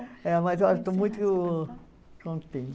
É, mas eu estou muito contente.